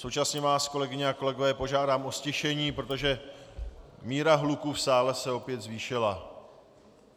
Současně vás, kolegyně a kolegové, požádám o ztišení, protože míra hluku v sále se opět zvýšila.